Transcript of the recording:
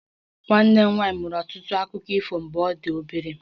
Nwanne m nwanyị maara ọtụtụ akụkọ ifo mgbe ọ dị obere